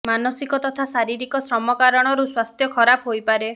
ମାନସିକ ତଥା ଶାରୀରିକ ଶ୍ରମ କାରଣରୁ ସ୍ବାସ୍ଥ୍ୟ ଖରାପ ହୋଇପାରେ